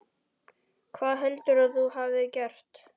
Hvað heldur þú að ég hafi gert?